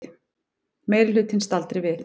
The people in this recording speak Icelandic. Meirihlutinn staldri við